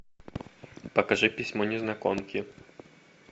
покажи письмо незнакомки